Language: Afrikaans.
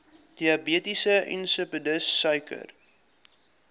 diabetes insipidus suiker